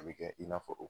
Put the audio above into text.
A bɛ kɛ i n'a fɔ